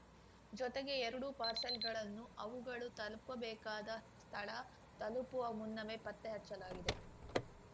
ಜೊತೆಗೆ ಎರಡೂ ಪಾರ್ಸೆಲ್‌ಗಳನ್ನು ಅವುಗಳು ತಲುಪಬೇಕಾದ ಸ್ಥಳ ತಲುಪುವ ಮುನ್ನವೇ ಪತ್ತೆಹಚ್ಚಲಾಗಿದೆ